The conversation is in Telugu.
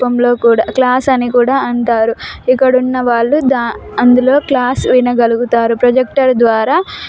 క్లాసు అని కూడా అంటారు ఇక్కడ వున్నా వాళ్ళు అందులో క్లాస్ వినగాలుగుతారు ప్రొజెక్టర్ ద్వారా --